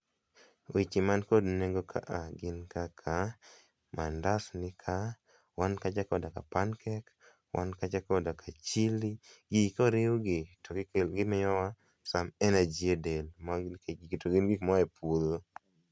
Weche man kod nengo kaa gin kaka mandas nika, wan kacha koda ka pancake, wan kacha kod chilli, gigi koriw gi to gikelo, gimiyowa some energy e del to gin gik moa e puodho